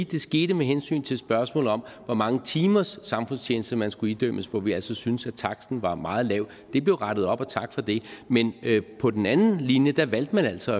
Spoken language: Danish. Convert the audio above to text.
det skete med hensyn til spørgsmålet om hvor mange timers samfundstjeneste man skulle idømmes hvor vi altså syntes at taksten var meget lav det blev rettet op og tak for det men på den anden linje valgte man altså